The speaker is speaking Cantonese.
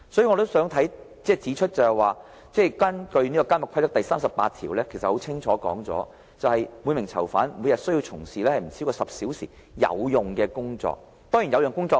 我也想指出，《監獄規則》第38條已經清楚訂明，每名囚犯須從事每天不超過10小時的"有用工作"。